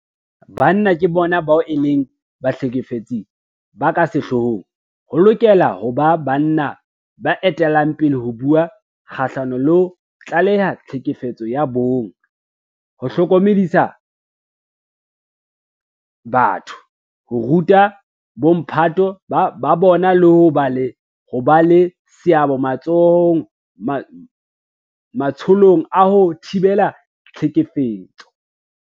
Ka hobane banna ke bona bao e leng bahlekefetsi ba ka sehloohong, ho lokela ho ba banna ba etellang pele ho bua kgahlano le ho tlaleha tlhekefetso ya bong, ho hlokomedisa batho, ho ruta bomphato ba bona le ho ba le seabo matsholong a ho thibela tlhekefetso.